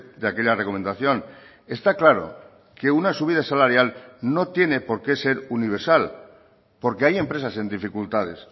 de aquella recomendación está claro que una subida salarial no tiene por qué ser universal porque hay empresas en dificultades